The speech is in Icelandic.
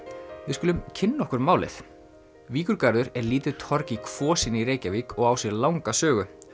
við skulum kynna okkur málið er lítið torg í Kvosinni í Reykjavík og á sér langa sögu